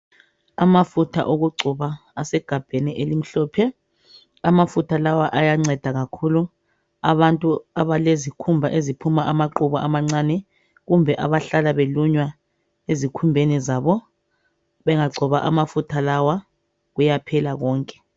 Amafutha okugcoba asegabheni elimhlophe. Amafutha lawa ayanceda kakhulu abantu abalezikhumba eziphuma amaqubu amancane kumbe abalunywayo ezikhumbeni zabo. Bengagcoba amafutha lawa kuyaphela konke.